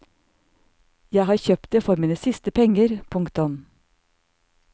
Jeg har kjøpt det for mine siste penger. punktum